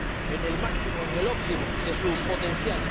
en el máximo, en el óptimo de su potencial.